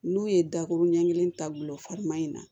N'u ye dakuru ɲɛ kelen ta gulofama in na